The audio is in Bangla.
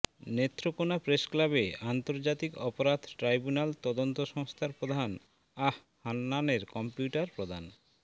নেত্রকোনা প্রেসক্লাবে আন্তর্জাতিক অপরাধ ট্রাইব্যুনাল তদন্ত সংস্থার প্রধান আঃ হাননানের কম্পিউটার প্রদান